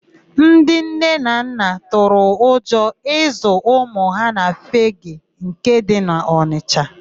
Ndị nne na nna tụrụ ụjọ ịzụ ụmụ ha na Fegee nke dị n'Ọnisha.